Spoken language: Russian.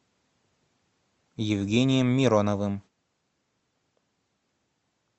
евгением мироновым